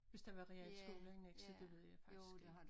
Hvis der var realskole i Nexø det ved jeg faktisk ikke